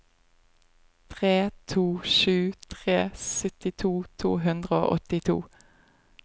tre to sju tre syttito to hundre og åttito